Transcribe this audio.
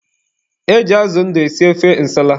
E ji azụ ndụ esi ofe nsala.